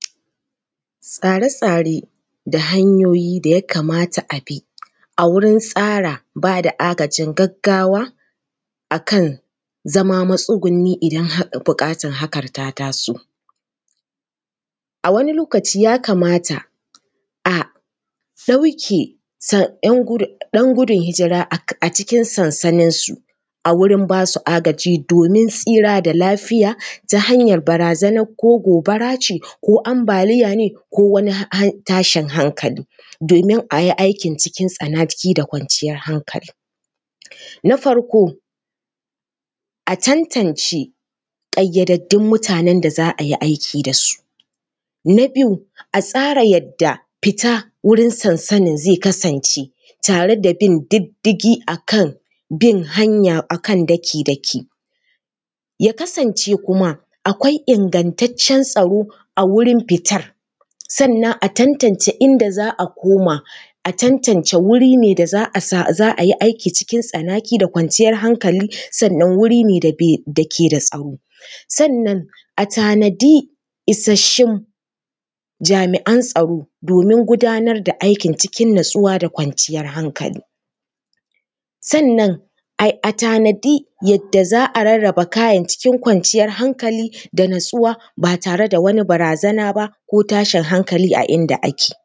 Tsare-tsare da hanyoyi da ya kamata a bi a wuri tsara ba da agajin gaggawa a kan zama matsuguni idan har buƙatar hakan ta taso. A wani lokaci ya kamata a ɗauke ɗan gudun hijira a cikin sansaninsu a wurin ba su agaji domin tsira da lafiya ta hanyar barazanar ko gobara ce ko ambaliya ne ko wani tashin hankali, domin a yi aikin cikin tsanaki da kwanciyar hankali. Na farko, a tantance ƙayyadaddun mutanen da za a yi aiki da su. Na biyu, a tsara yadda fita wurin sansanin zai kasance tare da bin diddigi a kan bin hanya a kan daki-daki. Ya kasance kuma akwai ingantaccen tsaro a wajen fitar, sannan a tantance inda za a koma, a tantance wuri ne da za a yi aiki cikin tsanaki da kwanciyar hankali. Sannan wuri ne da ke da tsaro, sannan a tanadi isassun jami’an tsaro domin gudanar da aikin cikin natsuwa da kwanciyar hankali. Sannan a tanadi yadda za a rarraba kayan cikin kwanciyar hankali da natsuwa ba tare da wani barazana ba ko tashin hankali a inda ake.